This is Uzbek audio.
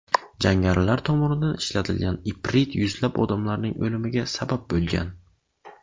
Jangarilar tomonidan ishlatilgan iprit yuzlab odamlarning o‘limiga sabab bo‘lgan.